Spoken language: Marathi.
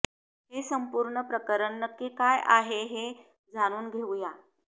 हे संपूर्ण प्रकरण नक्की काय आहे हे जाणून घेऊया